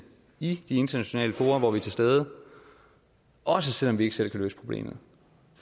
i de internationale fora hvor vi er til stede også selv om vi ikke selv kan løse problemet